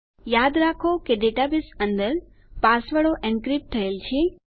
યાદ રાખો કે ડેટાબેઝ અંદર પાસવર્ડો એનક્રિપ્ટ થયેલ છે